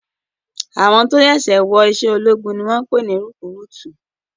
Àwọn tó ṣẹ̀ṣẹ̀ wọ iṣẹ́ ológun ni wọ́n ń pè ní rekúrútú